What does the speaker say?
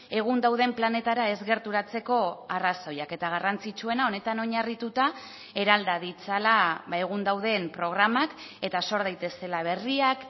egun dauden planetara ez gerturatzeko arrazoiak eta garrantzitsuena honetan oinarrituta eralda ditzala egun dauden programak eta sor daitezela berriak